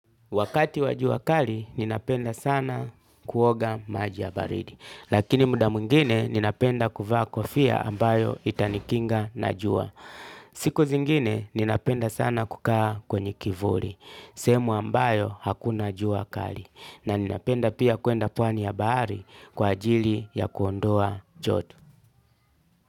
Wakati wa jua kali ninapenda sana kuoga maji ya baridi lakini muda mwingine ninapenda kuvaa kofia ambayo itanikinga na jua. Siku zingine ninapenda sana kukaa kwenye kivuli sehemu ambayo hakuna jua kali na ninapenda pia kwenda pwani ya bahari kwa ajili ya kuondoa joto.